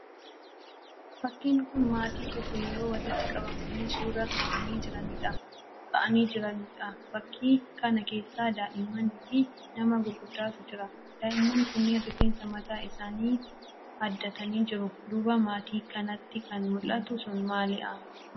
Fakkiin kun maatiin tokko yeroo walitti qabamanii suuraa ka'anii jiraniidha. Fakkii kana keessa daa'immanii fi nama gurguddaatu jira. Daa'imman kunniin rifeensa mataa isaanii haddatanii jiru. Duuba maatii kanaatti kan mul'atu sun maalii?